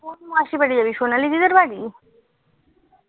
কোন মাসির বাড়ি যাবি সোনালী মাসির বাড়ি